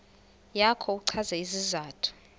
yakho uchaze isizathu